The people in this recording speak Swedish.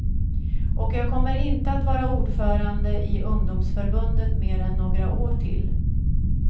Och jag kommer inte att vara ordförande i ungdomsförbundet mer än några år till.